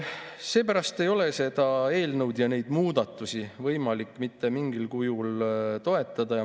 Seepärast ei ole seda eelnõu ja neid muudatusi võimalik mitte mingil kujul toetada.